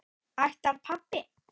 Ætlar pabbi?